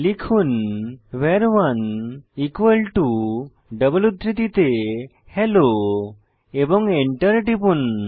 লিখুন ভার1 ডবল উদ্ধৃতিতে হেলো এবং এন্টার টিপুন